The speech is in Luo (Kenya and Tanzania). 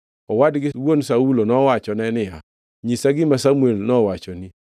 Owad gi wuon Saulo nowachone niya, “Nyisa gima Samuel nowachonu.”